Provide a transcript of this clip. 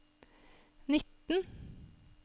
nitten